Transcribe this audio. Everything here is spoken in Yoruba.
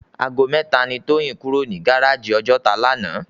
Àgó mètá ni Toyin kúró ni gáráji Òjòtá làná